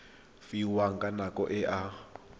fiwang ka nako e a